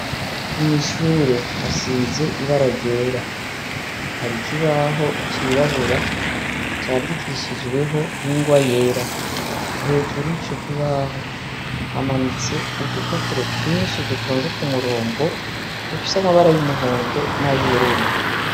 Mwishure hasize ibara ryera hari ikibaho cirabura candikishijweho ingwa yera hejuru y'ico kibaho hamanitse udupapuro twinshi dutonze ku murongo dufise amabara y'umuhondo n'ayoururu.